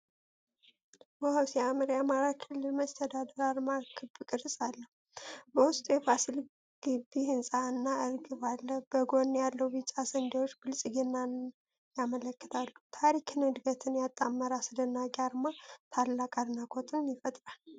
ዋው ሲያምር! የአማራ ክልል መስተዳድር አርማ ክብ ቅርፅ አለው። በውስጡ የፋሲል ግቢ ህንፃ እና እርግብ አለ። በጎን ያሉት ቢጫ ስንዴዎች ብልጽግናን ያመለክታሉ። ታሪክንና ዕድገትን ያጣመረ አስደናቂ አርማ! ታላቅ አድናቆት ይፈጥራል!